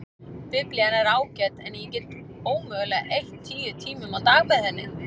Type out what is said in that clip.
Biblían er ágæt en ég get ómögulega eytt tíu tímum á dag með henni.